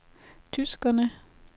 tyskerne